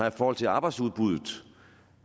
i forhold til arbejdsudbuddet